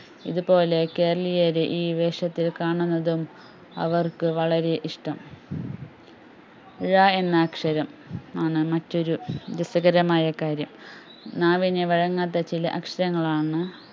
ഇതുപോലെ കേരളീയരെ ഈ വേഷത്തിൽ കാണുന്നതും അവർക്കു വളരെ ഇഷ്ട്ടം ഴ എന്ന അക്ഷരം ആണ് മറ്റൊരു രസകരമായകാര്യം നാവിന് വഴങ്ങാത്ത ചില അക്ഷരങ്ങളാണ്